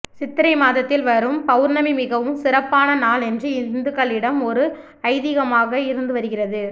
சித்திரை மாதத்தில் வரும் பவுர்ணமி மிகவும் சிறப்பான நாள் என்று இந்துக்களிடம் ஒரு ஐதீகமாக இருந்து வருகிறது